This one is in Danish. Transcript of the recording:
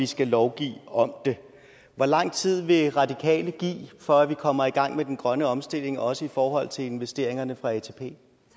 skal lovgive om det hvor lang tid vil radikale give for at vi kommer i gang med den grønne omstilling også i forhold til investeringerne fra atp